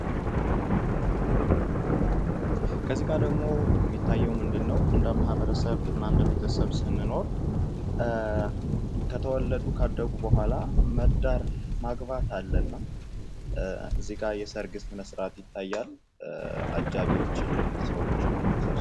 ከዚህ ጋ የሚታየው ምንድነው እንደ ማህበረሰብ እና ቤተሰብ ስንኖር ከተወለዱ ካደጉ በኋላ መዳር ማግባት አለና ከዚህ ጋ የሰርግ ስነ ስርዓት ይታያል። አጃቢ ሰዎችን ተሰብስብው